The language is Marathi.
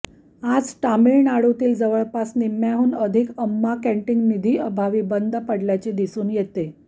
आज तमिळनाडूतील जवळपास निम्म्याहून अधिक अम्मा कॅंटीन निधीअभावी बंद पडल्याचे दिसून येते